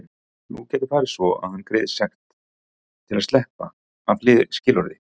Nú gæti farið svo að hann greiði sekt til að sleppa af skilorði.